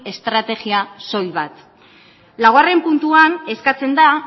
estrategia soil bat laugarren puntuan eskatzen da